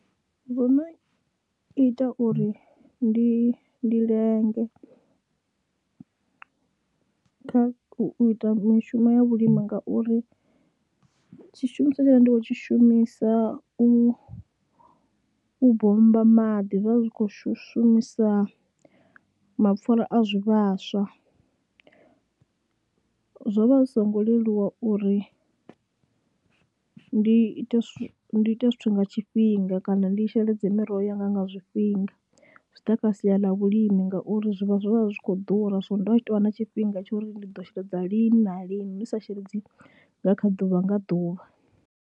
Vho no ita uri ndi ndi lenge kha u ita mishumo ya vhulimi ngauri tshishumiswa tshe ndo vha ndi khou tshi shumisa u u bommba maḓi zwa zwi khou shumisa mapfhura a zwivhaswa, zwo vha zwi songo leluwa uri ndi ite, ndi ite zwithu nga tshifhinga kana ndi sheledze miroho yanga nga zwifhinga. Zwi ḓa kha sia ḽa vhulimi ngauri zwivhaswa zwo vha zwi khou ḓura so ndo vha tshi tou vha na tshifhinga tsha uri ndi ḓo sheledza lini na lini, ndi sa sheledzi nga kha ḓuvha nga ḓuvha.